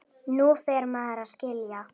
Nú fer maður að skilja!